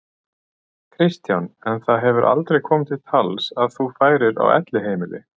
Kristján: En það hefur aldrei komið til tals að þú færir á elliheimili?